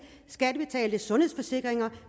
skattebetalte sundhedsforsikringer